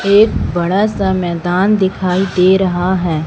एक बड़ा सा मैदान दिखाई दे रहा है।